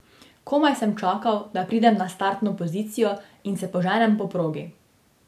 Komaj sem čakal, da pridem na startno pozicijo in se poženem po progi.